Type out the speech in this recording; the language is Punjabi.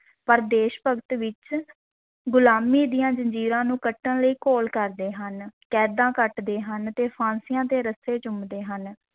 ਪਰ ਦੇਸ਼-ਭਗਤ ਵਿੱਚ ਗੁਲਾਮੀ ਦੀਆਂ ਜ਼ੰਜੀਰਾਂ ਨੂੰ ਕੱਟਣ ਲਈ ਘੋਲ ਕਰਦੇ ਹਨ, ਕੈਦਾਂ ਕੱਟਦੇ ਹਨ ਤੇ ਫਾਂਸੀਆਂ ਦੇ ਰੱਸੇ ਚੁੰਮਦੇ ਹਨ।